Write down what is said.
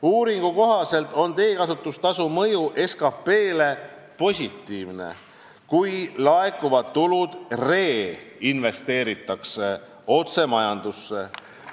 Uuringu kohaselt on teekasutustasu mõju SKP-le positiivne, kui laekuvad tulud reinvesteeritakse otse majandusse.